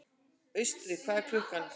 Austri, hvað er klukkan?